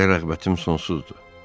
Sizə rəğbətim sonsuzdur.